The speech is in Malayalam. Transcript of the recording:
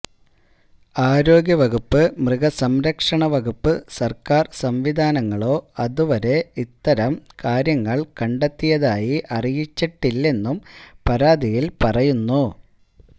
ആരോഗ്യ വകുപ്പ് മൃഗസംരക്ഷണ വകുപ്പ് സര്ക്കാര് സംവിധാനങ്ങളോ ഇതുവരെ അത്തരം കാര്യങ്ങള് കണ്ടെത്തിയതായി അറിയിച്ചിട്ടില്ലെന്നും പരാതിയില് പറയുന്നു